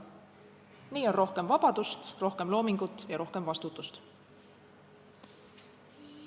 Nii on rohkem vabadust, rohkem loomingut ja rohkem vastutust.